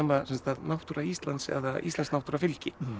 náttúra Íslands eða íslensk náttúra fylgi